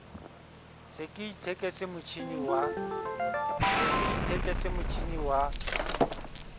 se ke itheketse motjhini wa